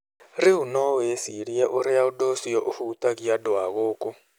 Rĩu no wĩcirie ũrĩa ũndũ ũcio ũhutagia andũ na gũkũ